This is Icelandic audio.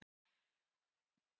Rand Paul